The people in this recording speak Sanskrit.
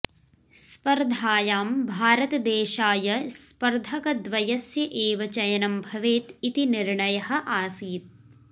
स्पर्धायां भारतदेशाय स्पर्धकद्वयस्य एव चयनं भवेत् इति निर्णयः आसीत्